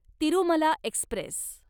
Tirumala Express